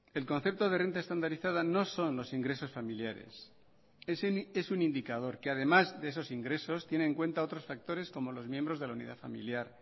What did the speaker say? el concepto de renta estandarizada no son los ingresos familiares es un indicador que además de esos ingresos tiene en cuenta otros factores como los miembros de la unidad familiar